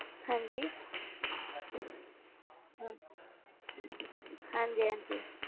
ਹਾਂਜੀ ਹਮ ਹਾਂਜੀ ਹਾਂਜੀ।